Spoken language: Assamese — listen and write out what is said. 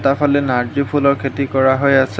ভিতৰফালে নাৰ্জী ফুলৰ খেতি কৰা হৈ আছে।